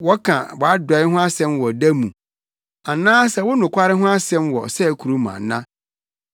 Wɔka wʼadɔe ho asɛm wɔ ɔda mu, anaasɛ wo nokware ho asɛm wɔ ɔsɛe kurom ana?